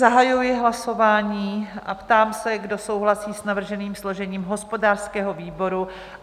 Zahajuji hlasování a ptám se, kdo souhlasí s navrženým složením hospodářského výboru?